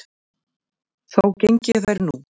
Þó geng ég þær nú